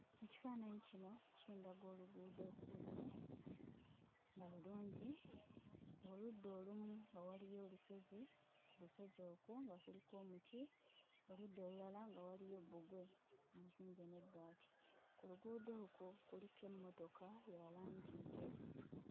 Ekifaananyi kino kindaga oluguudo olumu nga lulungi, oludda olumu nga waliyo olusozi, ku lusozi olwo nga kuliko omuti; oludda olulala nga waliyo bbugwe omuzimbe n'ebbaati. Ku luguudo okwo kuliko emmotoka ya langi njeru.